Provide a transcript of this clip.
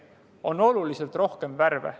On oluliselt rohkem värve.